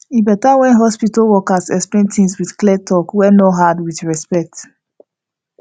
e better when hospital workers explain things with clear talk wey no hard with respect